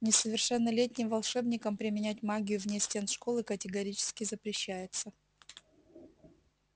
несовершеннолетним волшебникам применять магию вне стен школы категорически запрещается